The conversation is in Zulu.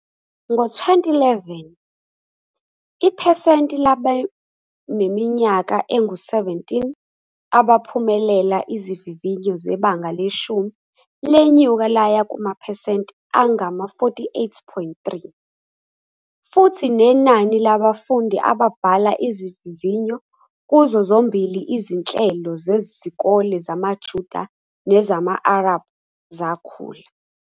Ngo-2011, iphesenti labaneminyaka engu-17 abaphumelela izivivinyo zebanga leshumi lenyuka laya kumaphesenti angama-48.3, futhi nenani labafundi ababhala izivivinyo kuzo zombili izinhlelo zezikole zamaJuda nezama-Arab zakhula.